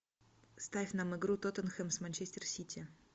ставь нам игру тоттенхэм с манчестер сити